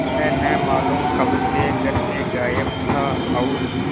वह न मालूम कब से घर से गायब था और